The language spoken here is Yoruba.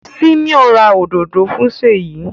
Simon rà òdodo fún Seyi.